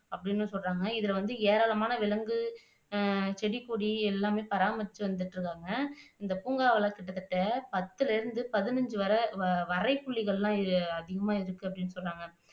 அப்படின்னும் சொல்றாங்க இது வந்து ஏராளமான விலங்கு அஹ் செடி, கொடி எல்லாமே பராமரிச்சுட்டு வந்துட்டு இருக்காங்க இந்த பூங்காவுல கிட்டத்தட்ட பத்துல இருந்து பதினைஞ்சுவரை வரைப்புலிகள் எல்லாம் அதிகமா இருக்கு அப்படின்னு சொல்றாங்க